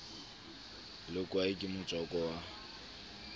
le kwae ke motswako wa